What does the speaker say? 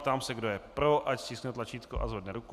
Ptám se, kdo je pro, ať stiskne tlačítko a zvedne ruku.